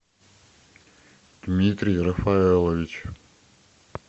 дмитрий рафаэлович